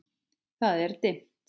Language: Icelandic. Það er dimmt.